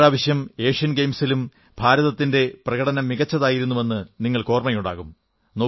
ഇപ്രാവശ്യം ഏഷ്യൻ ഗയിംസിലും ഭാരതത്തിന്റെ പ്രകടനം മികച്ചതായിരുന്നുവെന്ന് നിങ്ങൾക്ക് ഓർമ്മയുണ്ടാകും